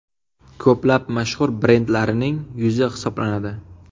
Ko‘plab mashhur brendlarining yuzi hisoblanadi.